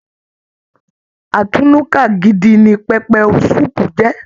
Atúnúká gidi ní pẹpẹ sùúpù jẹ.